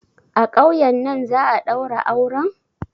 A ƙauyen nan za'a ɗaura auren?